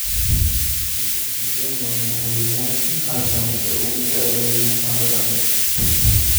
Museveni waa madaxweynayaashii qaar ka mid ah ee ugu da'da weyn qaaradda Afrika.